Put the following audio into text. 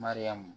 Mariyamu